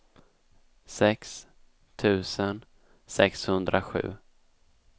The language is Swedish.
sex tusen sexhundrasju